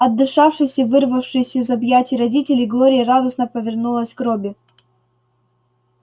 отдышавшись и вырвавшись из объятий родителей глория радостно повернулась к робби